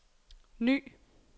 ny